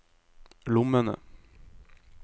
lommene